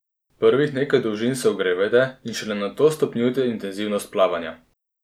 Prvih nekaj dolžin se ogrevajte in šele nato stopnjujte intenzivnost plavanja.